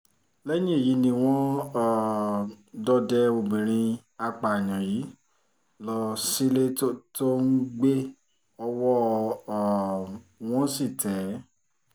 lẹ́yìn èyí ni wọ́n um dọdẹ ọmọbìnrin apààyàn yìí lọ sílé tó tó ń gbé ọwọ́ um wọn sì tẹ̀ ẹ́